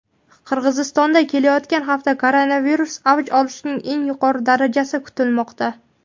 Qirg‘izistonda kelayotgan hafta koronavirus avj olishining eng yuqori darajasi kutilmoqda.